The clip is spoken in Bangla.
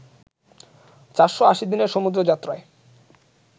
৪৮০ দিনের সমুদ্র যাত্রায়